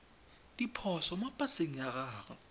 diphoso mo paseng ya gago